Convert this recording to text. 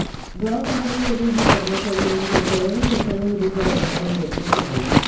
गावपातळीवरील हे कर्मचारी म्हणजे कोरोना विषाणुविरुद्ध लढणारे योद्धेच आहेत